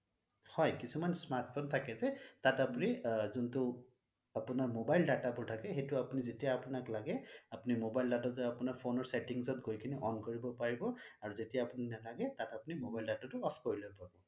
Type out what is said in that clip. হয় কিছুমান smart phone থাকে যে তাত আপুনি যোনটো তাত আপোনাৰ mobile data বোৰ থাকে সেইটো আপুনি যেতিয়া আপোনাক লাগে আপুনি mobile data টো আপোনাৰ phone ৰ settings ত গৈ কেনে on কৰিব পাৰিব আৰু যেতিয়া আপুনি নালাগে তাত আপুনি mobile data টো off কৰি লব